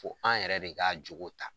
Fo an yɛrɛ de ka jogo ta.